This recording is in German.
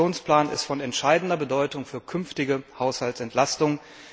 Der Aktionsplan ist von entscheidender Bedeutung für künftige Haushaltsentlastungen.